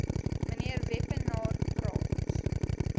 mnr wepener praat